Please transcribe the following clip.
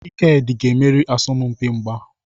Ikedi ga-emeri n'asọmpi mgba.